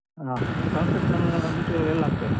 ಹ construction material ಎಲ್ಲ ಹಾಕ್ತೇವೆ.